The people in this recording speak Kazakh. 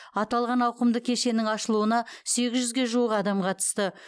аталған ауқымды кешеннің ашылуына сегіз жүзге жуық адам қатысты